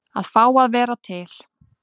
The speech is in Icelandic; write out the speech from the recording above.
Að fá að vera til.